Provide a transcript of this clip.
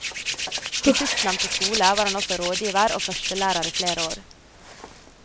På sistnevnte skole var han også rådgiver og førstelærer i flere år.